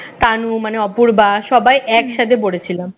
তানু মানে অপূর্বা সবাই একসাথে পড়েছিলাম